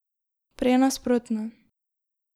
Prej nasprotno.